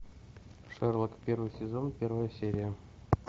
шерлок первый сезон первая серия